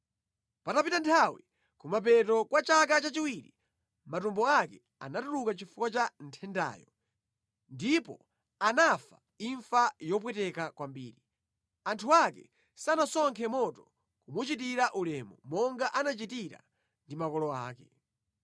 Patapita nthawi, kumapeto kwa chaka chachiwiri, matumbo ake anatuluka chifukwa cha nthendayo, ndipo anafa imfa yopweteka kwambiri. Anthu ake sanasonkhe moto kumuchitira ulemu, monga anachitira ndi makolo ake.